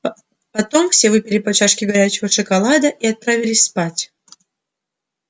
потом все выпили по чашке горячего шоколада и отправились спать